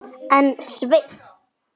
En Sveinn